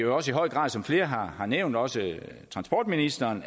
også i høj grad som flere har nævnt også transportministeren